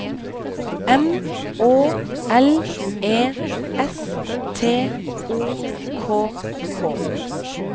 M Å L E S T O K K